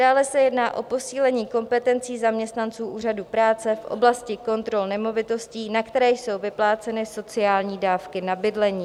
Dále se jedná o posílení kompetencí zaměstnanců úřadů práce v oblasti kontrol nemovitostí, na které jsou vypláceny sociální dávky na bydlení.